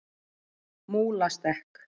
Múlastekk